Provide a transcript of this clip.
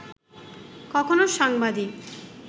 কখনো সাংবাদিক